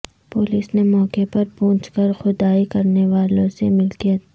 police نے موقع پر پہونچ کر کھدائی کرنے والوں سے ملکیت